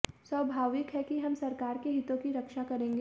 स्वभाविक है कि हम सरकार के हितों की रक्षा करेंगे